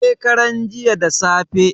shekaran jiya da safe